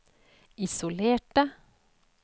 isolerte